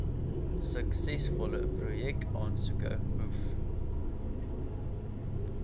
suksesvolle projekaansoeke hoef